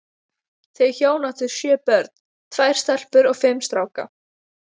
Þau hjón áttu sjö börn, tvær stelpur og fimm stráka.